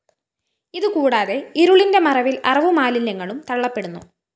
ഇതുകൂടാതെ ഇരുളിന്റെ മറവില്‍ അറവു മാലിന്യങ്ങളും തള്ളപ്പെടുന്നു